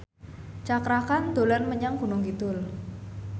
Cakra Khan dolan menyang Gunung Kidul